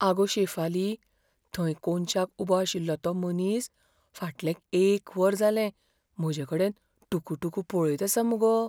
आगो शेफाली, थंय कोनशाक उबो आशिल्लो तो मनीस फाटलें एक वर जालें म्हजेकडेन टुकुटुकू पळयत आसा मगो.